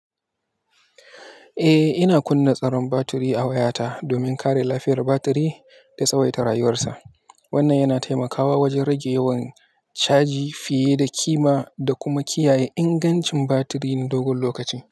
Eh, ina kunna tsaron batiri a wayata domin kare lafiyar batiri da tsawaita rayuwarsa. Wannan yana taimakawa wajen rage yawan, caji fiye da kima da kuma kiyaye ingancin batiri na dogon lokaci.